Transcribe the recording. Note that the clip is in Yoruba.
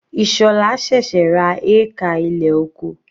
Ishola sẹ̀sẹ̀ ra hékà ilẹ̀ oko.